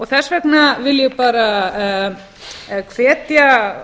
þess vegna vil ég bara hvetja